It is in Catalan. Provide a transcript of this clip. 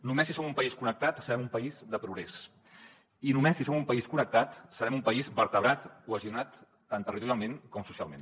només si som un país connectat serem un país de progrés i només si som un país connectat serem un país vertebrat cohesionat tant territorialment com socialment